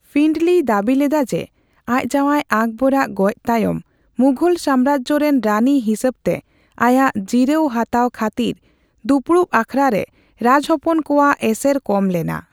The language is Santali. ᱯᱷᱤᱱᱰᱚᱞᱤᱭ ᱫᱟᱹᱵᱤ ᱞᱮᱫᱟ ᱡᱮ, ᱟᱪ ᱡᱟᱣᱟᱭ ᱟᱠᱵᱚᱨᱟᱜ ᱜᱚᱡ ᱛᱟᱭᱚᱢ ᱢᱩᱜᱷᱚᱞ ᱥᱟᱢᱢᱨᱟᱡᱽᱡᱚ ᱨᱮᱱ ᱨᱟᱹᱱᱤ ᱦᱤᱥᱟᱹᱵᱛᱮ ᱟᱭᱟᱜ ᱡᱤᱨᱟᱹᱣ ᱦᱟᱛᱟᱣ ᱠᱷᱟᱹᱛᱤᱨ ᱫᱯᱩᱲᱩᱯ ᱟᱠᱷᱲᱟᱨᱮ ᱨᱮ ᱨᱟᱡᱽᱦᱚᱯᱚᱱ ᱠᱚᱣᱟᱜ ᱮᱥᱮᱨ ᱠᱚᱢ ᱞᱮᱱᱟ ᱾